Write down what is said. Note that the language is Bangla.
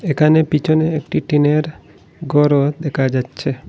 এখানে পিছনে একটি টিনের ঘরও দেখা যাচ্ছে।